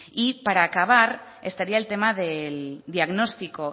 y para acabar estaría el tema del diagnóstico